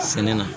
Sɛnɛ na